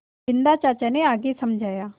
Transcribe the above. बिन्दा चाचा ने आगे समझाया